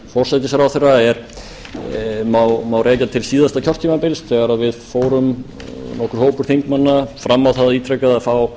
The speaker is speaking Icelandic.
forsætisráðherra má rekja til síðasta kjörtímabils þegar við fórum nokkur hópur þingmanna ítrekað fram á það að fá